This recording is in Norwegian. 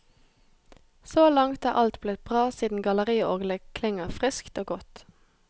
Så langt er alt blitt bra siden galleriorglet klinger friskt og godt.